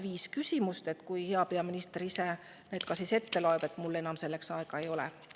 hea peaminister loeb need ise ette, mul selleks enam aega ei ole.